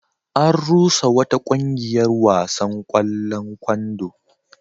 An rusa wata ƙungiyar wasan ƙwallon kwando.